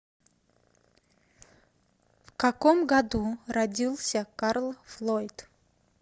в каком году родился карл флойд